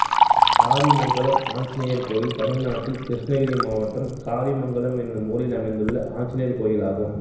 காரிமங்கலம் ஆஞ்சிநேயர் கோயில் தமிழ்நாட்டில் கிருஷ்ணகிரி மாவட்டம் காரிமங்கலம் என்னும் ஊரில் அமைந்துள்ள ஆஞ்சநேயர் கோயிலாகும்